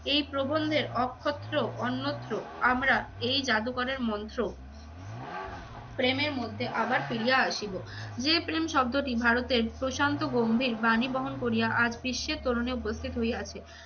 এই প্রবন্ধের অক্ষত্র অন্যত্র আমরা এই জাদুকরের মন্ত্র প্রেমের মধ্যে আবার ফিরিয়া আসিব। যে প্রেম শব্দটি ভারতের প্রশান্ত গম্ভীর বাণী বহন করিয়া আজ বিশ্বের তোরণে উপস্থিত হইয়াছে।